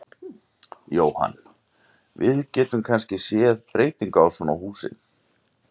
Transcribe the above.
Jóhann: Við getum kannski séð breytingu á svona húsi?